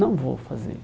Não vou fazer.